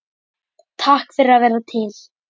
Takk fyrir að vera til.